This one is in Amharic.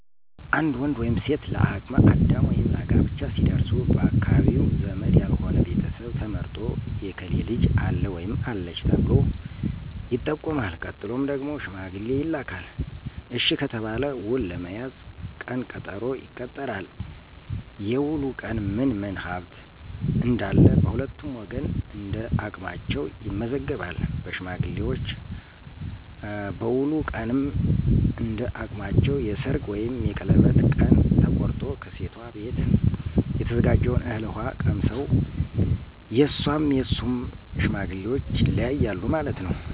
አንድ ወንድ ወይም ሴት ለ አቅመ አዳም ወይም ለጋብቻ ሲደርሱ ባካባቢው ዘመድ ያልሆነ ቤተሰብ ተመርጦ የከሌ ልጅ አለ/አለች ተብሎ ይጠቆማል። ቀጥሎ ደግሞ ሽማገሌ ይላካል፤ እሽ ከተባለ ውል ለመያዝ ቀን ቀጠሮ ይቀጠራል፤ የዉሉ ቀን ምን ምን ሀብት እነዳለ በሁለቱም ወገን እነዳቅማቸዉ ይመዘገባል በሽማግሌዎች፤ በዉሉ ቀንም እንዳቅማቸው የሰርግ ወይም የቀለበት ቀን ተቆርጦ፣ ከሴቷ ቤት የተዘጋጀውን እህል ውሃ ቀምሰው የሧም የሡም ሽማግሌዎች ይለያያሉ ማለት ነው።